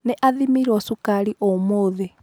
Nĩ athĩmirwo cukari ũmũthĩ.